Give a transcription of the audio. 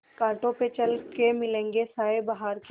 कांटों पे चल के मिलेंगे साये बहार के